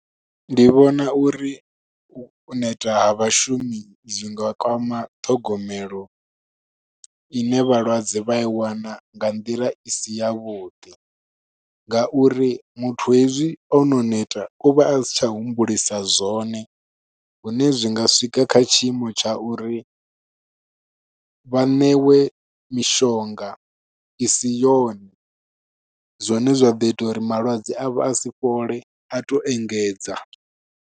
Ndi vhona uri u neta ha vhashumi zwi nga kwama ṱhogomelo ine vhalwadze vha i wana nga nḓila i si ya vhuḓi. Nga uri muthu hezwi ono neta uvha a si tsha humbulisa zwone, hune zwi nga swika kha tshiimo tsha uri vhaṋewe mishonga i si yone. Zwone zwa ḓo ita uri malwadze a vho a si fhole, a to engedza.